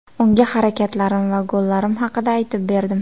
Unga harakatlarim va gollarim haqida aytib berdim.